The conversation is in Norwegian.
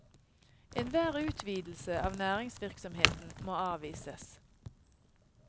Enhver utvidelse av næringsvirksomheten må avvises.